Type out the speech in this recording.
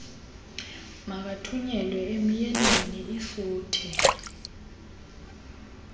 makathunyelwe emyeniinl lfuthe